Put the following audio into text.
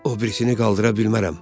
O birisini qaldıra bilmərəm.